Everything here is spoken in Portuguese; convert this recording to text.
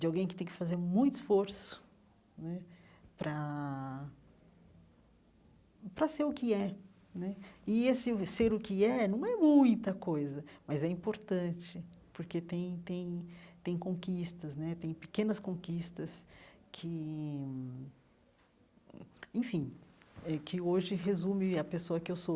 de alguém que tem que fazer muito esforço né para para ser o que é né. E esse ser o que é não é muita coisa, mas é importante, porque tem tem tem conquistas né, tem pequenas conquistas que hum hum, enfim eh, que hoje resumem a pessoa que eu sou.